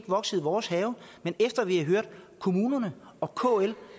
vokset i vores have men efter at vi har hørt kommunerne og kl